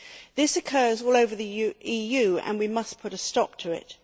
This occurs all over the EU and we must put a stop to it.